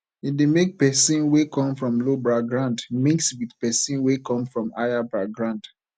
e de make person wey come from low background mix with persin wey come from higher background